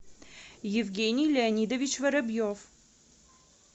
евгений леонидович воробьев